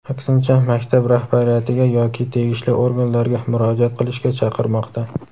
aksincha maktab rahbariyatiga yoki tegishli organlarga murojaat qilishga chaqirmoqda.